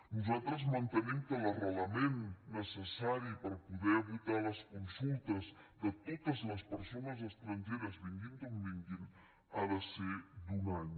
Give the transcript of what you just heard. nosaltres mantenim que l’arrelament necessari per poder votar a les consultes de totes les persones estrangeres vinguin d’on vinguin ha de ser d’un any